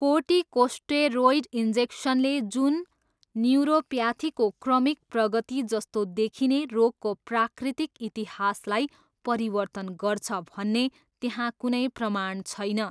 Corticosteroid इन्जेक्नसले जुन न्युरोप्याथीको क्रमिक प्रगति जस्तो देखिने रोगको प्राकृतिक इतिहासलाई परिवर्तन गर्छ भन्ने त्यहाँ कुनै प्रमाण छैन।